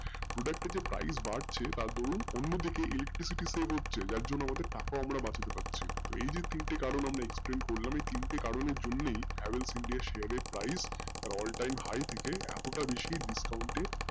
product এর যে price বাড়ছে ধুরুন অন্য দিকে electricity save হচ্ছে যার জন্য আমরা বাঁচাতে পারছি এই যে তিনটি কারণ আমরা explain করছি এই তিন টি কারণ এর জন্যেই Havells india এর price all time high থেকে এত টা বেশি discount এর